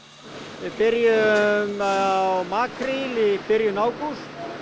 við byrjuðum á makríl í byrjun ágúst